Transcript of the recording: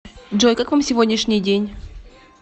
джой как вам сегодняшний день